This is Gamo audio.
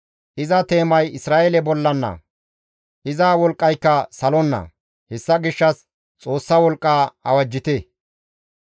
Iza teemay Isra7eele bollana; iza wolqqayka salonna. Hessa gishshas Xoossa wolqqa awajjite.